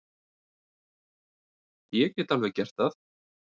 Ég get alveg gert það.